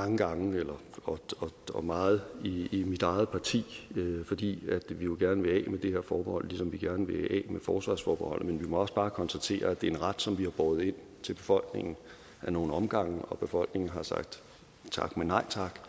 mange gange og meget i mit eget parti fordi vi jo gerne vil af med det her forbehold ligesom vi gerne vil af med forsvarsforbeholdet men vi må også bare konstatere at det er en ret som vi har båret ind til befolkningen af nogle omgange og at befolkningen har sagt tak men nej tak